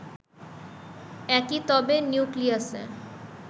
একই তবে নিউক্লিয়াসে